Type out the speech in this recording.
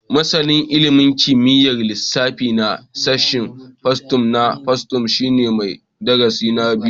Masanin ilimin kimiyyar lissafi na sashen fasaha na fasaha shine mai digiri na biyu